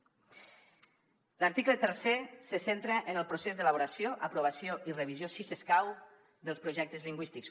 l’article tercer se centra en el procés d’elaboració aprovació i revisió si escau dels projectes lingüístics